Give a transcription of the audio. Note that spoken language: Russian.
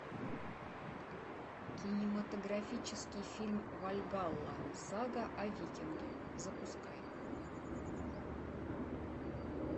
кинематографический фильм вальгалла сага о викинге запускай